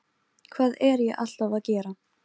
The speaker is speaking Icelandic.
Enja, hvenær kemur strætó númer fjörutíu og sex?